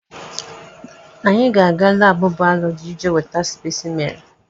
Anyị ga-aga laabụ bayọlọji ije weta spesimen.